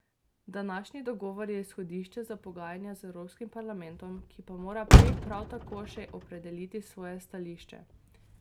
Današnji dogovor je izhodišče za pogajanja z Evropskim parlamentom, ki pa mora prej prav tako še opredeliti svoje stališče.